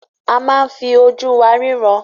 A máa ń fi ojú wa ríran.